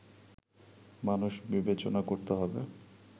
মানুষ বিবেচনা করতে হবে